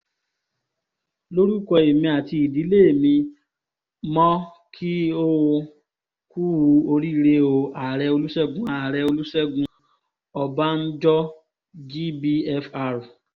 lórúkọ èmi àti ìdílé mi mọ́ kí ó kùú oríire o ààrẹ olùṣègùn ààrẹ olùṣègùn ọbànjọ́ gbfr